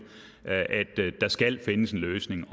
at der skal findes en løsning